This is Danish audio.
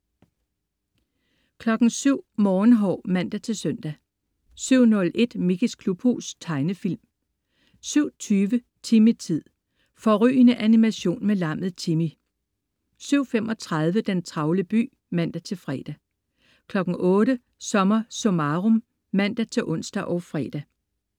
07.00 Morgenhår (man-søn) 07.01 Mickeys klubhus. Tegnefilm 07.20 Timmy-tid. Fårrygende animation med lammet Timmy 07.35 Den travle by (man-fre) 08.00 SommerSummarum (man-ons og fre)